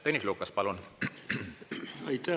Tõnis Lukas, palun!